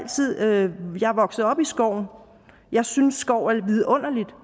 vokset op i skoven jeg synes skov er vidunderligt